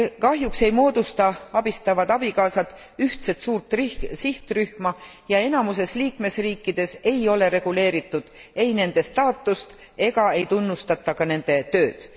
Kahjuks ei moodusta abistavad abikaasad ühtset suurt sihtrühma ja enamuses liikmesriikides ei ole reguleeritud ei nende staatust ega ei tunnustata ka nende tööd.